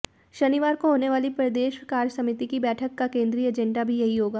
शनिवार को होने वाली प्रदेश कार्यसमिति की बैठक का केंद्रीय एजेंडा भी यही होगा